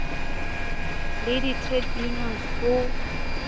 le di trade unions ho